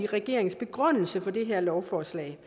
regeringens begrundelse for det her lovforslag